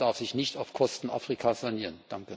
Europa darf sich nicht auf Kosten Afrikas sanieren.